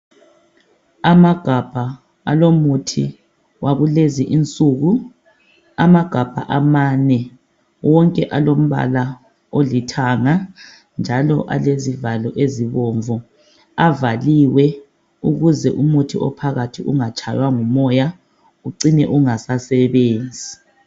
Amagabha alomuthi wakulezi insuku. Amagabha amane, wonke alombala olithanga njalo alezivalo ezibomvu. Avaliwe ukuze umuthi ophakathi ungatshaywa ngumoya ucine ungasasebenzi.